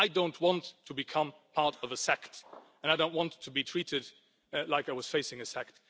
I don't want to become part of a sect and I don't want to be treated like I was facing a sect.